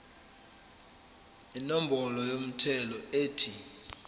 inombolo yomthelo ethi